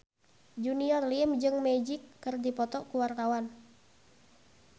Junior Liem jeung Magic keur dipoto ku wartawan